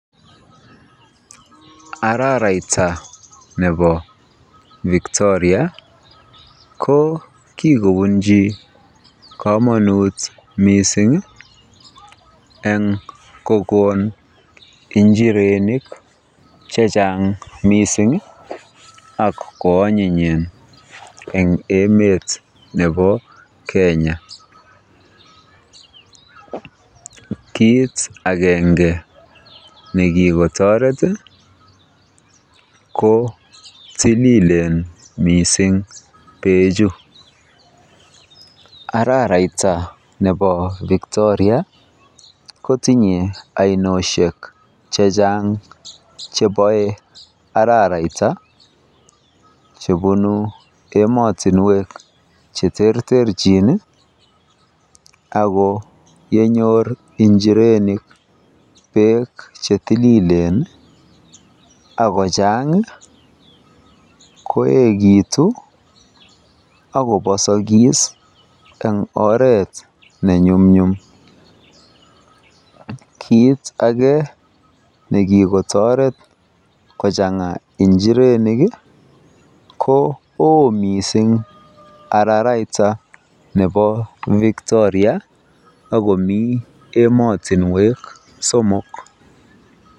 Araraita nebo Victoria ko kikobunchi komonut mising eng kokon njirenik chechang mising ak ko anyinyen en emet nebo Kenya, kiit akenge nekiktoret ko tililen mising bechu, araraita nebo Victoria kotinye ainoshek chechang chebo araraita chebunu emotinwek cheterterchin ak ko yenyor njirenik beek chetililen ak kochang ko yekiitu ak kobosokis eng oreet nenyumnyum, kiit akee nekikotoret kochanga njirenik ko oo mising araraita nebo Victoria ak komii emotinwek somok.